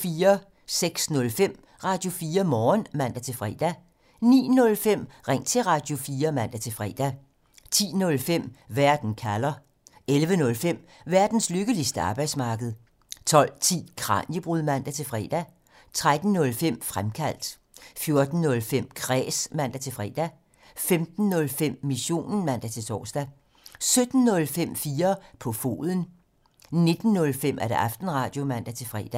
06:05: Radio4 Morgen (man-fre) 09:05: Ring til Radio4 (man-fre) 10:05: Verden kalder (man) 11:05: Verdens lykkeligste arbejdsmarked (man) 12:10: Kraniebrud (man-fre) 13:05: Fremkaldt (man) 14:05: Kræs (man-fre) 15:05: Missionen (man-tor) 17:05: 4 på foden (man) 19:05: Aftenradio (man-fre)